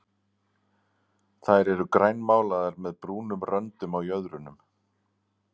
Þær eru grænmálaðar með brúnum röndum á jöðrunum.